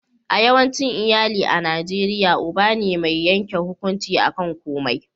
a yawancin iyali a najeriya uba ne mai yanke hukunci a kan komai